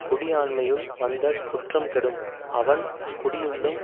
குடி ஆண்மையுள் வந்த குற்றம் கெடும் அவன் குடியுள்ளும்